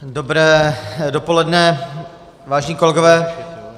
Dobré dopoledne, vážení kolegové.